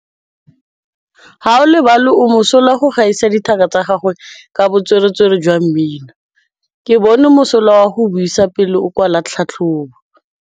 Gaolebalwe o mosola go gaisa dithaka tsa gagwe ka botswerere jwa mmino. Ke bone mosola wa go buisa pele o kwala tlhatlhobô.